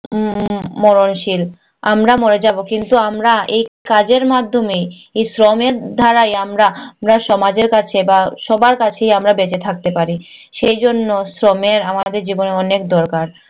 উম মরণশীল। আমরা মরে যাবো। কিন্তু আমরা এই কাজের মাধ্যমেই এই শ্রমের দ্বারাই আমরা আমরা সমাজের কাছে বা সবার কাছেই আমরা বেঁচে থাকতে পারি। সেইজন্য শ্রমের আমাদের জীবনে অনেক দরকার।